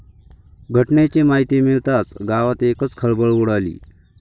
घटनेची माहिती मिळताच गावात एकच खळबळ उडाली.